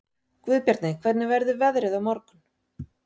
Guðbjarni, hvernig verður veðrið á morgun?